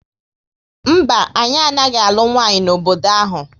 Mba, anyị anaghị alụ nwanyị n'obodo ahu